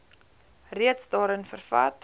reeds daarin vervat